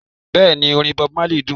Bẹ́ẹ̀ni orin Bob Marley dún